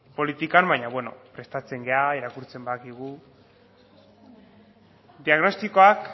politikan baino beno prestatzen gara irakurtzen badakigu diagnostikoak